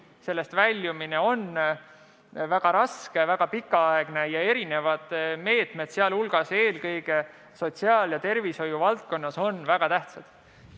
Sellest väljumine on väga raske, väga pikaaegne ja erinevad meetmed, eelkõige sotsiaal- ja tervishoiu valdkonnas on väga tähtsad.